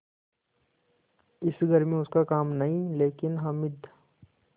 इस घर में उसका काम नहीं लेकिन हामिद